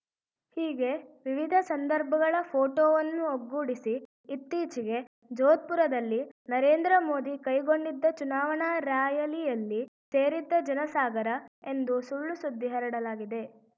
ಹೀಗೆ ವಿವಿಧ ಸಂದರ್ಭಗಳ ಫೋಟೋವನ್ನು ಒಗ್ಗೂಡಿಸಿ ಇತ್ತೀಚೆಗೆ ಜೋದ್ಪುರದಲ್ಲಿ ನರೇಂದ್ರ ಮೋದಿ ಕೈಗೊಂಡಿದ್ದ ಚುನಾವಣಾ ರಾಯಲಿಯಲ್ಲಿ ಸೇರಿದ್ದ ಜನಸಾಗರ ಎಂದು ಸುಳ್ಳುಸುದ್ದಿ ಹರಡಲಾಗಿದೆ